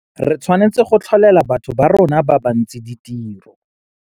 Re tshwanetse go tlholela batho ba borona ba bantsi ditiro.